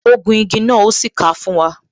Ó gun igi náà, o sì ka fún wa